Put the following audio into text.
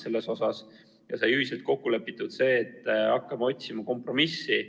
Siis sai ühiselt kokku lepitud, et hakkame otsima kompromissi.